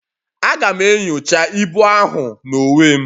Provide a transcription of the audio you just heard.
Aga'm enyocha ibu ahụ n'onwe m